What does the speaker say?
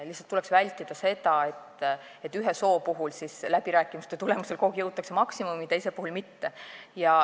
Lihtsalt tuleks vältida seda, et ühe soo puhul jõutakse läbirääkimiste tulemusel kogu aeg maksimumini, teise puhul mitte.